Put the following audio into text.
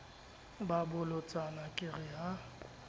ba bolotsana ke re ha